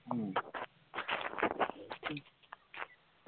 উম